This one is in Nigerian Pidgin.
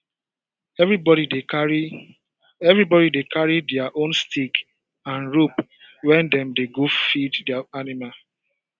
everybody dey carry everybody dey carry their own stick and rope when dem dey go feed their animal